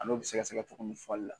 A n'o bɛ sɛgɛsɛgɛ tuguni falila.a